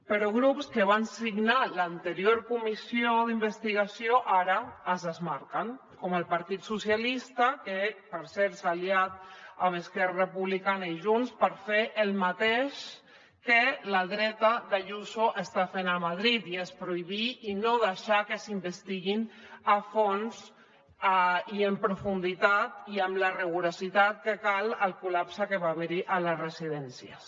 però grups que van signar l’anterior comissió d’investigació ara se’n desmarquen com el partit socialista que per cert s’ha aliat amb esquerra republicana i junts per fer el mateix que la dreta d’ayuso està fent a madrid i és prohibir i no deixar que s’investiguin a fons i en profunditat i amb la rigorositat que cal el col·lapse que va haver hi a les residències